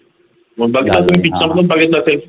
बघितल असेल